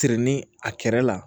Sirini a kɛrɛ la